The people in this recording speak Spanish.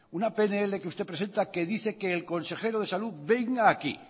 una pnl que usted presenta que dice que el consejero de salud venga aquí